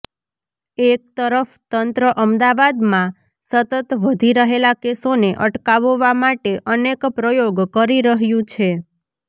એક તરફ તંત્ર અમદાવાદમાં સતત વધી રહેલા કેસોને અટકાવવા માટે અનેક પ્રયોગ કરી રહ્યું છે